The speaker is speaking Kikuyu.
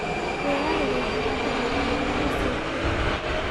rĩera rĩgaĩkara atĩa thĩkũ mũgwanja ciukite